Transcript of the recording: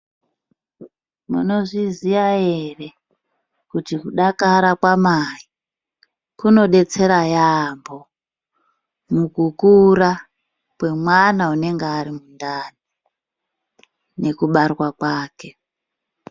Munozviziya ere kuti kudakara kwamai kunodetsera yambo mukukura kwemwana unenge arimutano nekubarwa kwake.